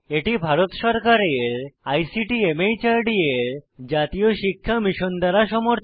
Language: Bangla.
এটি ভারত সরকারের আইসিটি মাহর্দ এর জাতীয় সাক্ষরতা মিশন দ্বারা সমর্থিত